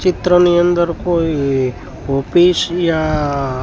ચિત્રની અંદર કોઈ ઓફિસ યા--